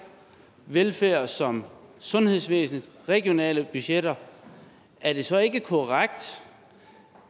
velfærd som sundhedsvæsenets regionale budgetter er det så ikke korrekt